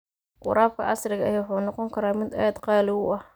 Waraabka casriga ahi wuxuu noqon karaa mid aad qaali u ah.